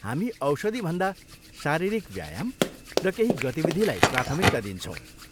हामी औषधिभन्दा शारीरिक व्यायाम र केही गतिविधिलाई प्राथमिकता दिन्छौँ।